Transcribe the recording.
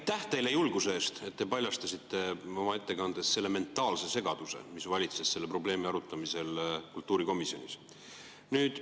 Aitäh teile julguse eest, et te paljastasite oma ettekandes selle mentaalse segaduse, mis valitses selle probleemi arutamisel kultuurikomisjonis!